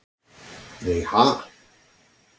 Nei ha?